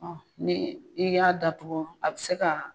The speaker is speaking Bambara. Ɔn ni i y'a datuku, a bi se ka